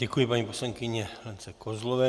Děkuji paní poslankyni Lence Kozlové.